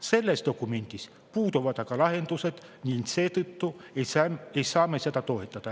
Selles dokumendis puuduvad lahendused ning seetõttu ei saa me seda toetada.